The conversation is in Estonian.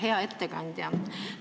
Hea ettekandja!